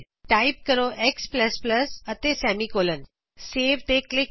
type ਕਰੋ X plus plus X ਅਤੇ ਇਕ ਸੈਮੀ ਕੋਲਨ ਸੇਵ ਉਤੇ ਕਲੀਕ ਕਰੋ